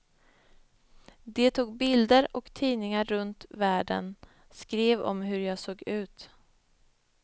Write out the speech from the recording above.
De tog bilder och tidningar runt världen skrev om hur jag såg ut.